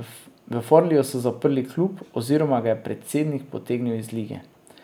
V Forliju so zaprli klub, oziroma ga je predsednik potegnil iz lige.